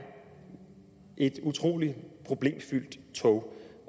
et utrolig problemfyldt tog